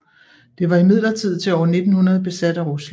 Det var imidlertid til år 1900 besat af Rusland